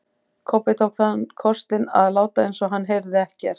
Kobbi tók þann kostinn að láta eins og hann heyrði ekkert.